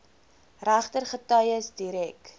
regter getuies direk